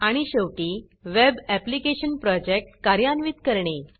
आणि शेवटी web application project कार्यान्वित करणे